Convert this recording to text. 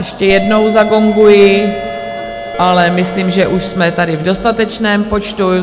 Ještě jednou zagonguji, ale myslím, že už jsme tady v dostatečném počtu.